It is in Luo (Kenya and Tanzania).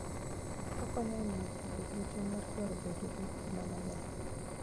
Okonyo e miyo ji obed gi chuny mar dwaro bedo gi ngima maber.